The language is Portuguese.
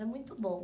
Era muito bom.